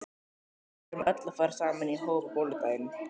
Við verðum öll að fara saman í hóp á bolludaginn.